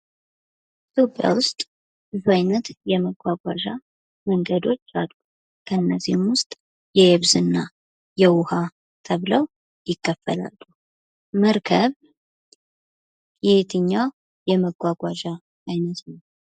ኢትዮጵያ ውስጥ ብዙ አይነት የመጓጓዣ መንገዶች አሉ ።ከእነዚህም ውስጥ የየብስ የውሃ ተብለው ይከፈላሉ መርከብ የየትኛው የመጓጓዣ አይነት ነው?